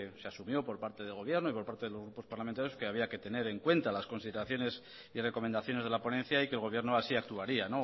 se asumió por parte del gobierno y por parte de los grupos parlamentarios que había que tener en cuenta las consideraciones y recomendaciones de la ponencia y que el gobierno así actuaría